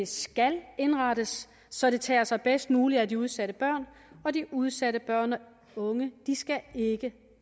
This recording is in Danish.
skal indrettes så det tager sig bedst muligt af de udsatte børn og de udsatte børn og unge skal ikke